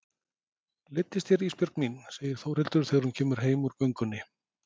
Leiddist þér Ísbjörg mín, segir Þórhildur þegar hún kemur heim úr göngunni.